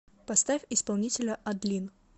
поставь исполнителя адлин